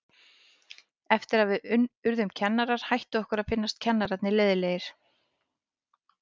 Eftir að við urðum kennarar hætti okkur að finnast kennararnir leiðinlegir.